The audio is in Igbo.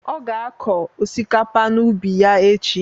Ọ ga akọ osikapa n'ubi ya echi.